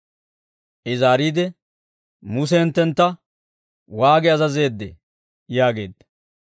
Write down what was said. I zaariide, «Muse hinttentta waagi azazeeddee?» yaageedda.